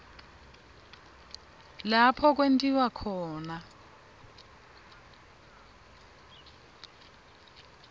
lapho kwentiwa khona